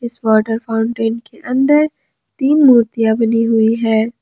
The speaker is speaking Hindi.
इस वॉटर फाउंटें के अंदर तीन मूर्तियां बनी हुई है।